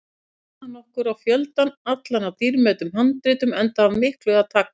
Vísaði hann okkur á fjöldann allan af dýrmætum handritum, enda af miklu að taka.